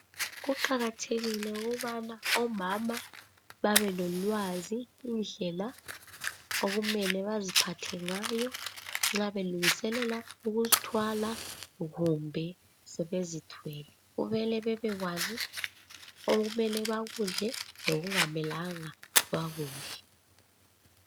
Kuqakathekile ukubana omama babelolwazi indlela okumele baziphathe ngayo nxa belungiselela ukuzithwala kumbe sebezithwele kumele bebekwazi okumele bakudle lokungamelanga bakudle .